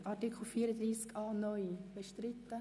Sind Sie einverstanden?